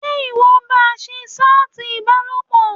Ṣé ìwọ ń ba ń ṣe ṣátì ìbálòpọ̀?